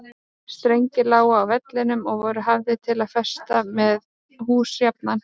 Strengir lágu á vellinum og voru hafðir til að festa með hús jafnan.